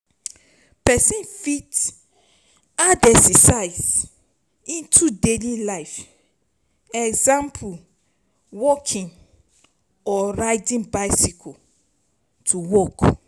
person fit add exercise into daily life example, walking or riding bicycle to work